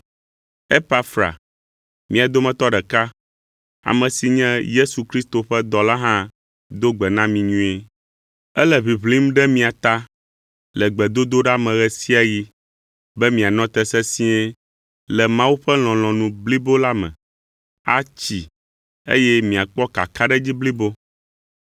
Epafra, mia dometɔ ɖeka, ame si nye Yesu Kristo ƒe dɔla hã do gbe na mi nyuie. Ele ʋiʋlim ɖe mia ta le gbedodoɖa me ɣe sia ɣi be mianɔ te sesĩe le Mawu ƒe lɔlɔ̃nu blibo la me, atsi, eye miakpɔ kakaɖedzi blibo.